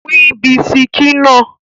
Pín bisikí náà!